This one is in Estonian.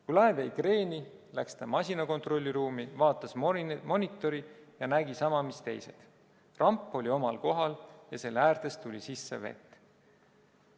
Kui laev vajus kreeni, läks ta masina kontrollruumi, vaatas monitori ja nägi sama, mis teised: ramp oli omal kohal ja selle äärtest tuli sisse vett.